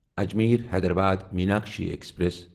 Ajmer Hyderabad Meenakshi express